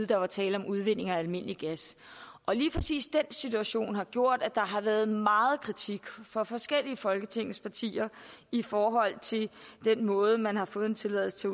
der var tale om udvinding af almindelig gas og lige præcis den situation har gjort at der har været meget kritik fra forskellige af folketingets partier i forhold til den måde man har fået tilladelse til